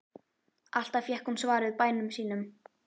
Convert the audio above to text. Alltaf fékk hún svar við bænum sínum.